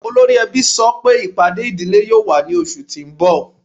Ọlọ́ri èbí sọ́ pé ipádé idílé yóò wà ní ọṣù tí n bọ̀.